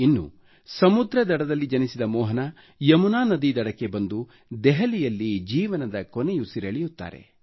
ಇನ್ನು ಸಮುದ್ರ ದಡದಲ್ಲಿ ಜನಿಸಿದ ಮೋಹನ ಯಮುನಾ ನದಿ ದಡಕ್ಕೆ ಬಂದು ದೆಹಲಿಯಲ್ಲಿ ಜೀವನದ ಕೊನೆಯುಸಿರೆಳೆಯುತ್ತಾರೆ